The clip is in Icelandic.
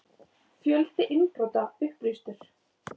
Fjöldi innbrota upplýstur